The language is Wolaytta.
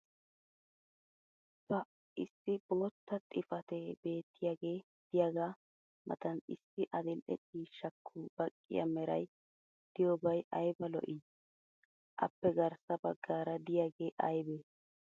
pa issi bootta xifatee beetiyaagee diyaagaa matan issi adil'e ciishshaakko baqqiya meray diyoobay aybba lo'ii? Appe garssa bagaara diyaagee aybee?